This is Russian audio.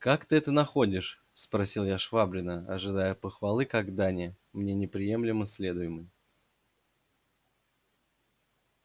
как ты это находишь спросил я швабрина ожидая похвалы как дани мне непременно следуемой